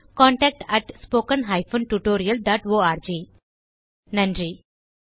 contact at spoken hyphen tutorial dot org நன்றி